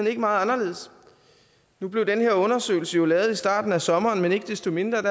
ikke meget anderledes nu blev den her undersøgelse lavet i starten af sommeren men ikke desto mindre